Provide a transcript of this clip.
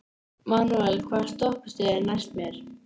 Manuel, hvaða stoppistöð er næst mér?